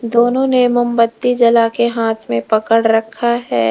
दोनों ने मोमबत्ती जला के हाथ में पकड़ रखा है।